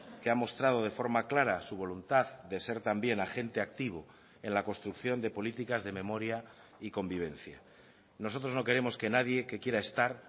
que ha mostrado de forma clara su voluntad de ser también agente activo en la construcción de políticas de memoria y convivencia nosotros no queremos que nadie que quiera estar